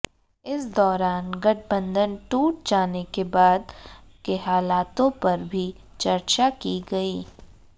इस दौरान गठबंधन टूट जाने के बाद के हालातों पर भी चर्चा की गई